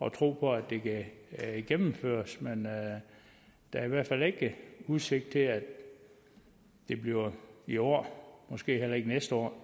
at tro på at det kan gennemføres der er i hvert fald ikke udsigt til at det bliver i år måske heller ikke næste år